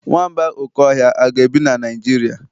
Nwamba oke ohia a ga-ebi na Nigeria?